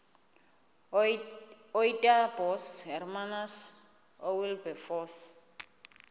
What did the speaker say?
ootaaibos hermanus oowilberforce